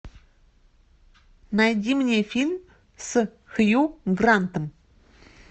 найди мне фильм с хью грантом